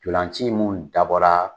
Ntolan ci minnu dabɔra